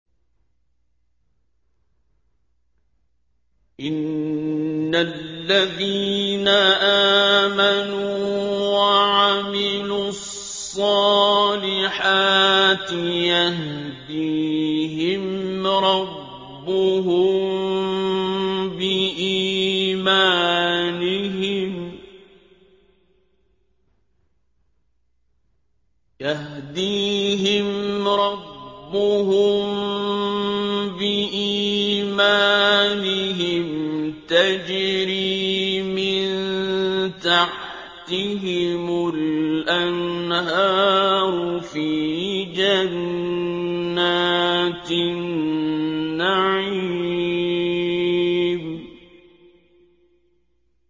إِنَّ الَّذِينَ آمَنُوا وَعَمِلُوا الصَّالِحَاتِ يَهْدِيهِمْ رَبُّهُم بِإِيمَانِهِمْ ۖ تَجْرِي مِن تَحْتِهِمُ الْأَنْهَارُ فِي جَنَّاتِ النَّعِيمِ